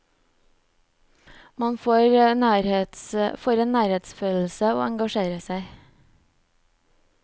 Man får en nærhetsfølelse og engasjerer seg.